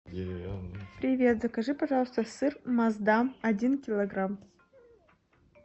привет закажи пожалуйста сыр маасдам один килограмм